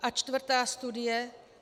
A čtvrtá studie.